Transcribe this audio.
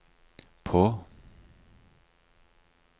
på